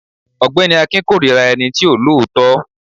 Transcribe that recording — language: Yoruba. ọgbẹni akin korira ení tí o lọọtọ.